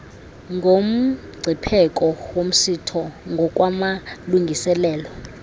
nomngcipheko womsitho ngokwamalungiselelo